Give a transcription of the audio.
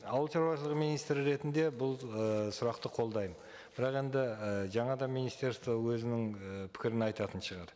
ауылшаруашылығы министрі ретінде бұл ы сұрақты қолдаймын бірақ енді і жаңа да министерство өзінің і пікірін айтатын шығар